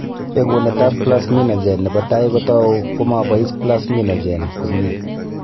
Bekunetab plasminogen nebo tai kotou ko ma bois plasminogen komnyie.